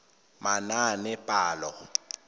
manaanepalo